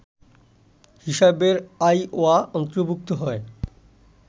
হিসেবে আইওয়া অন্তর্ভুক্ত হয়